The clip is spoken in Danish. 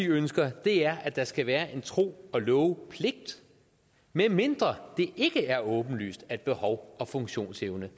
ønsker er at der skal være en tro og love pligt medmindre det ikke er åbenlyst at behov og funktionsevne